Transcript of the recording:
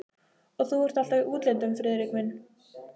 Og þú ert alltaf í útlöndum, Friðrik minn